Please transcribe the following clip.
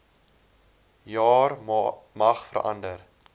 jaar mag verander